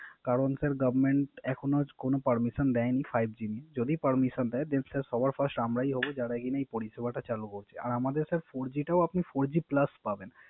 আর আমাদের sir Four G টাও আপনি Four G Plus পাবেন। কারন স্যার Government এখনো কোন Permission দেয় নি Five G এর, যদি Permission দেয় Then Sir সবার First আমরাই হবো যারা নাকি পরিসেবাটা চালু করছে।